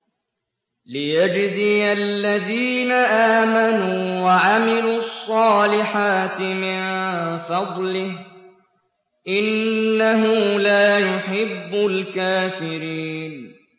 لِيَجْزِيَ الَّذِينَ آمَنُوا وَعَمِلُوا الصَّالِحَاتِ مِن فَضْلِهِ ۚ إِنَّهُ لَا يُحِبُّ الْكَافِرِينَ